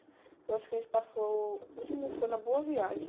Eu acho que a gente passou... O último foi na Boa Viagem.